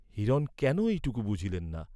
হিরণ কেন এইটুকু বুঝিলেন না?